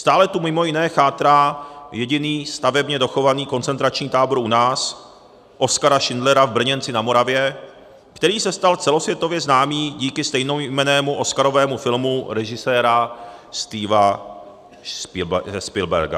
Stále tu mimo jiné chátrá jediný stavebně dochovaný koncentrační tábor u nás, Oskara Schindlera v Brněnci na Moravě, který se stal celosvětově známý díky stejnojmennému oscarovému filmu režiséra Stevena Spielberga.